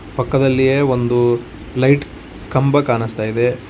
ಪಕ್ಕದಲ್ಲಿಯೇ ಒಂದು ಲೈಟ್ ಕಂಬ ಕಾಣಸ್ತಾ ಇದೆ.